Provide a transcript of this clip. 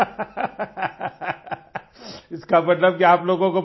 हँस कर इसका मतलब कि आप लोगों को